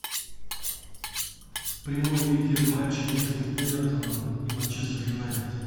прямой эфир матча между эвертоном и манчестер юнайтед